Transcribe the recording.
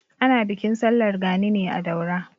Ana bikin sallar gani ne a Daura.